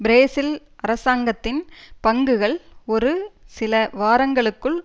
Brazil அரசாங்கத்தின் பங்குகள் ஒரு சில வாரங்களுக்குள்